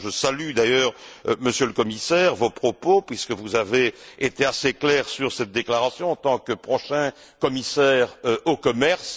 Je salue d'ailleurs, Monsieur le Commissaire, vos propos, puisque vous avez été assez clair sur cette déclaration en tant que prochain commissaire au commerce.